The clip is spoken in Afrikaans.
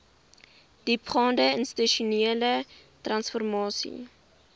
diepgaande institusionele transformasie